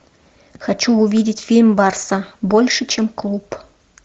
хочу увидеть фильм барса больше чем клуб